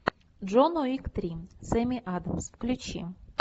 джон уик три с эми адамс включи